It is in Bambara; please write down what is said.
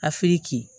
Afiriki